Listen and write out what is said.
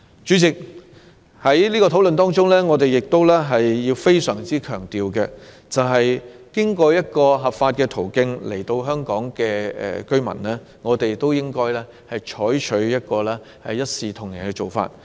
主席，在討論過程中，我們必須非常強調的一點，是經過合法途徑來港的居民，我們均應採取一視同仁的做法。